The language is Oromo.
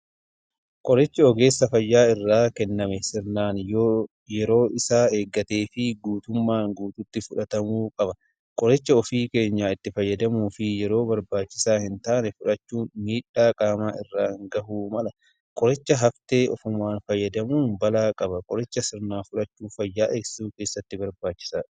Qorichi ogeessa fayyaa irraa kenname sirnaan yoo yeroo isaa eeggatee fi guutummaa guutuutti fudhatamuu qaba. Qoricha ofii keenyaan itti fayyadamuu fi yeroo barbaachisaa hin taanee fudhachuun miidhaa qaamaa irraan ga'uu mala. Qoricha haftee ofumaan fayyadamuun balaa qaba. Qoricha sirnaan fudhachuun fayyaa eegsisuu keessatti barbachisaadha.